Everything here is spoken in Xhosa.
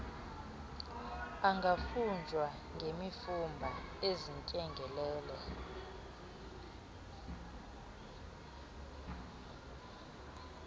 angafunjwa ngemfumba ezindyengelele